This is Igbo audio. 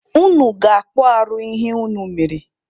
Unu ga-akpụ arụ ihe unu mere!